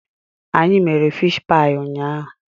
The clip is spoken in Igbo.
Anyị mere fish paị ụnyaahụ.